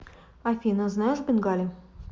афина знаешь бенгали